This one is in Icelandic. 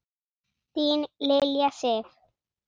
Þín Lilja Sif.